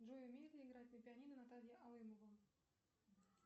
джой умеет ли играть на пианино наталья алымова